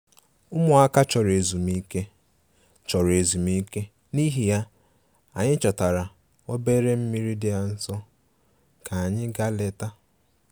Ụmụaka chọrọ ezumike, chọrọ ezumike, n'ihi ya, anyị chọtara obere mmiri dị nso ka anyị gaa leta